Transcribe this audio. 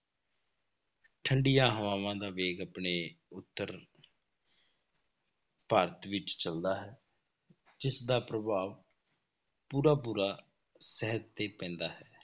ਠੰਢੀਆਂ ਹਵਾਵਾਂ ਦਾ ਵੇਗ ਆਪਣੇ ਉੱਤਰ ਭਾਰਤ ਵਿੱਚ ਚੱਲਦਾ ਹੈ, ਜਿਸਦਾ ਪ੍ਰਭਾਵ ਪੂਰਾ ਪੂਰਾ ਸਿਹਤ ਤੇ ਪੈਂਦਾ ਹੈ,